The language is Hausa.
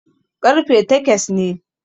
ƙarfe takes ne